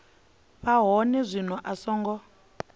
vha hone zwino a songo